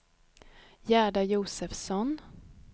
Gerda Josefsson